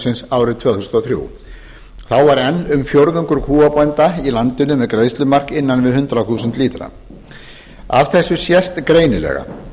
meðalbúsins árið tvö þúsund og þrjú þá var enn um fjórðungur kúabænda í landinu með greiðslumark innan við hundrað þúsund lítra af þessu sést greinilega